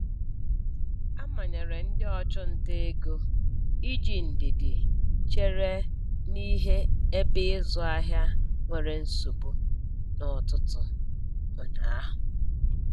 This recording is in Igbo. A manyere ndị ọchụnta ego iji ndidi chere n'ihe ebe ịzụ ahịa nwere nsogbu n'ụtụtụ ụnyaahụ.